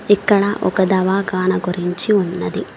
ఇక్కడ ఒక దవాఖాన గురించి ఉన్నది.